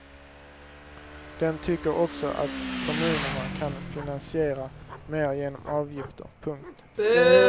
Den tycker också att kommunerna kan finansiera mer genom avgifter. punkt